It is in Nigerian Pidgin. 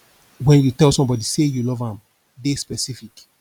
when you tell somebody sey you love am dey specific